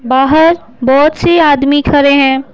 बाहर बहुत से आदमी खड़े हैं।